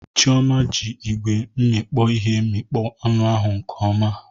Chioma ji igwe mmikpo ihe mikpoo anụ ahụ nkeọma